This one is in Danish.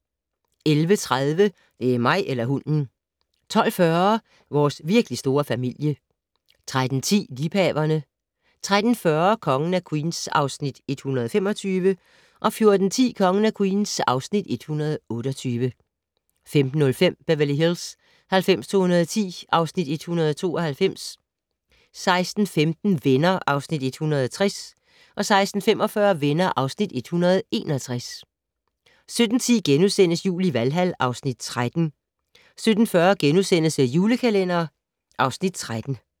11:30: Det er mig eller hunden! 12:40: Vores virkelig store familie 13:10: Liebhaverne 13:40: Kongen af Queens (Afs. 125) 14:10: Kongen af Queens (Afs. 128) 15:05: Beverly Hills 90210 (Afs. 192) 16:15: Venner (Afs. 160) 16:45: Venner (Afs. 161) 17:10: Jul i Valhal (Afs. 13)* 17:40: The Julekalender (Afs. 13)*